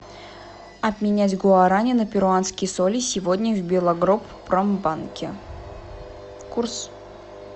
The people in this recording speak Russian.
обменять гуарани на перуанские соли сегодня в белагропромбанке курс